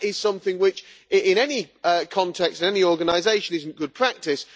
Now that is something which, in any context and in any organisation, is not good practice.